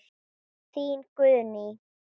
Þín, Guðný.